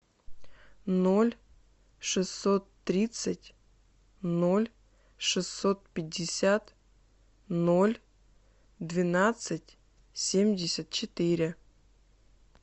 ноль шестьсот тридцать ноль шестьсот пятьдесят ноль двенадцать семьдесят четыре